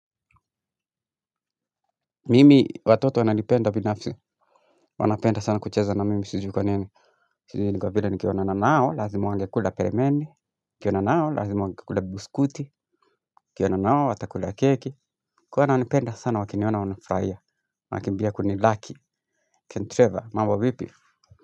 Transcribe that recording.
Mimi, watoto wananipenda binafsi Wanapenda sana kucheza na mimi sijui kwa nini. Sijiui ni kwa vile nikionana nao lazima wangekula peremende. Nikionana nao lazima wangekula biskuti. Nikionana nao watakula keki, huwa wananipenda sana wakiniona wafurahia wanakimbia kunilaki. Trevor mambo vipi.